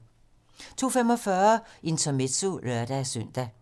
02:45: Intermezzo (lør-søn)